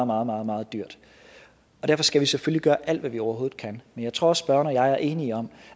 meget meget meget dyrt og derfor skal vi selvfølgelig alt hvad vi overhovedet kan men jeg tror også spørgeren og jeg er enige om